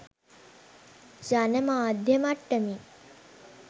ජන මාධ්‍ය මට්ටමින්